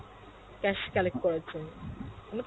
cash collect করার জন্য